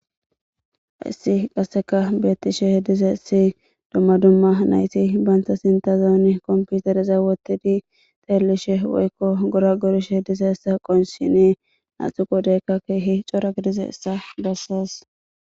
Hayssi qasseka beettishe dizayssi dumma dumma nayti bayntha sintazooni komputereza wottidi xeellishe woykko gora gorishe dize essa qonshine naatu qodeykka keehi cora gidize essa bossas.